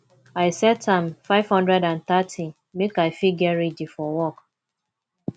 i set am 530 make i fit get ready for work